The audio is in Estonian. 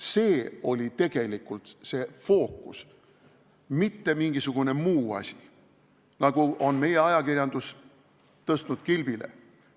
See oli tegelikult fookuses, mitte mingisugune muu asi, nagu meie ajakirjandus on kilbile tõstnud.